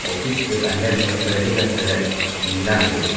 Office के अंदर में पर्दे का कलर नीला है।